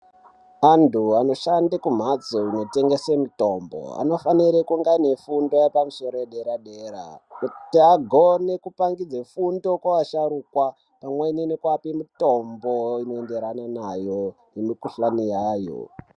Antu anoshanda kumbatso inotengeswa mitombo anofanira kunge ane fundo yepamusoro yedera dera kuti agone kupangidza fundo kuvasharukwa pamweni nekuvapa mitombo inoenderana navo nemikuhlani yayo.